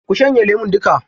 Ku shanye lemun duka.